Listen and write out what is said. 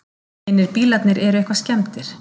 Hinir bílarnir eru eitthvað skemmdir